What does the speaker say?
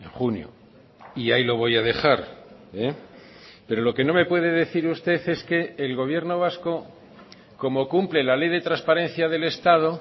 junio y ahí lo voy a dejar pero lo que no me puede decir usted es que el gobierno vasco como cumple la ley de transparencia del estado